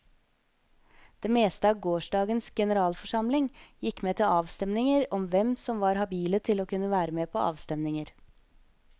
Det meste av gårsdagens generalforsamling gikk med til avstemninger over hvem som var habile til å kunne være på avstemninger.